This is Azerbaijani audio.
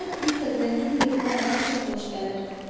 Mənə Piter Rendin hekayələri çox xoş gəlir.